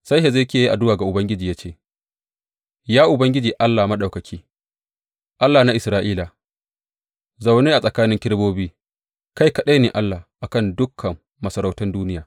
Sai Hezekiya ya yi addu’a ga Ubangiji ya ce, Ya Ubangiji Allah Maɗaukaki, Allah na Isra’ila, zaune a tsakanin kerubobi, kai kaɗai ne Allah a kan dukan masarautan duniya.